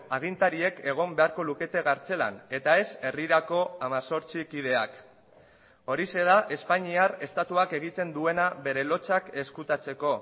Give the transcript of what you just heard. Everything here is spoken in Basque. agintariek egon beharko lukete kartzelan eta ez herrirako hemezortzi kideak horixe da espainiar estatuak egiten duena bere lotsak ezkutatzeko